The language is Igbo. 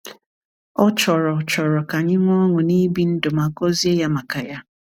Ọ chọrọ chọrọ ka anyị nwee ọṅụ n’ibi ndụ ma gọzie Ya maka ya.